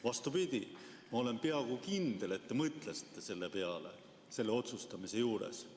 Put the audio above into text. Vastupidi, ma olen peaaegu kindel, et te mõtlesite selle peale selle otsustamise juures.